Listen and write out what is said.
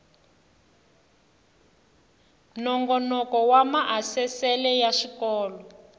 nongoloko wa maasesele ya swikolo